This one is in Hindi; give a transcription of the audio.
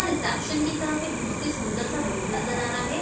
और रिसेप्शन की तरफ एक बहोतसा ही सुंदर का बोर्ड नजर आ रहा हैं।